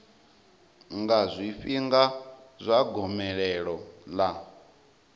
nga zwifhinga zwa gomelelo ḽa